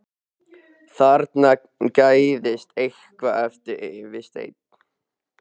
Þarna gægðist eitthvað upp fyrir stein.